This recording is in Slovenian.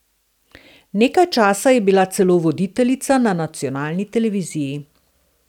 Nekaj časa je bila celo voditeljica na nacionalni televiziji.